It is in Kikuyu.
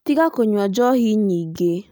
Tiga kũnyua njohi nyingĩ